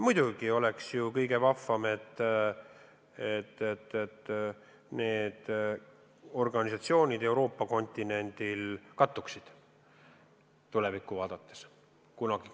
Muidugi oleks kõige vahvam, kui need organisatsioonid Euroopa kontinendil kunagi tulevikus kattuksid.